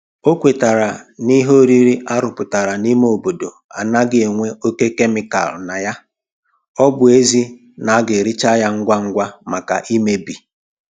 O kwetara n'ihe oriri a rụpụtara n'ime obodo anaghị enwe oke kemịkal na ya, ọ bụ ezie na a ga-ericha ya ngwa ngwa maka imebi